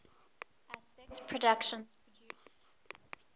aspect productions produced